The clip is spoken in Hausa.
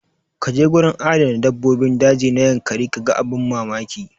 Kaje gurin adana dabbobin daji na yankari kaga abin mamaki.